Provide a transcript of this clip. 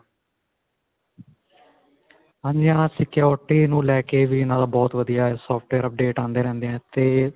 ਹਾਂਜੀ ਹਾਂ. security ਨੂੰ ਲੈ ਕੇ ਵੀ ਇਨ੍ਹਾਂ ਦਾ ਬਹੁਤ ਵਧੀਆ software update ਹੁੰਦੇ ਰਹਿੰਦੇ ਹੈ ਤੇ.